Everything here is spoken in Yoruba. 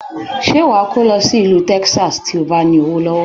Ṣé wa kó lọ sí ìlú Texas, tí o bá ní owó lọ́wọ́?